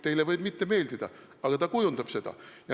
Teile võib see mitte meeldida, aga ta kujundab seda.